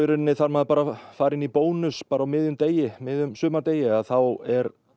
þarf maður bara að fara inn í Bónus á miðjum miðjum sumardegi þá er